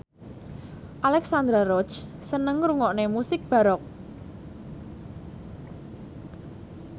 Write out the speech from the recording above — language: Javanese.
Alexandra Roach seneng ngrungokne musik baroque